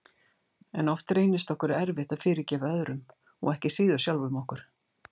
En oft reynist okkur erfitt að fyrirgefa öðrum og ekki síður sjálfum okkur.